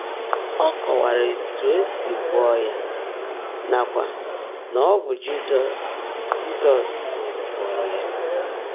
Ó kọ́waárá ótú è sí gwọ́ọ́ yá nàkwá ná ọ́ bụ́ Jị́zọ́s Jị́zọ́s gwọ́ọ́rọ́ yá.